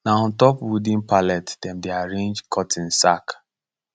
na on top wooden pallet dem dey arrange cotton sack